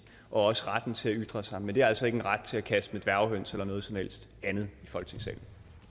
og også retten til at ytre sig men det indebærer altså ikke en ret til at kaste med dværghøns eller noget som helst andet i folketingssalen